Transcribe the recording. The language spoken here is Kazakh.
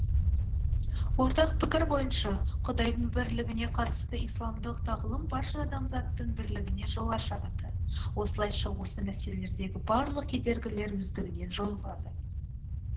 ортақ пікір бойынша құдайдың бірлігіне қатысты исламдық тағылым барша адамзаттың бірлігіне жол ашады осылайша осы мәселедегі барлық кедергілер өздігінен жойылады